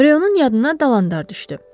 Ryonun yadına dalandar düşdü.